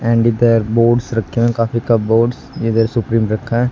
and इधर boards रखें काफी कपबोर्ड्स इधर सुप्रीम रखा--